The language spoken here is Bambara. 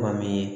Kuma min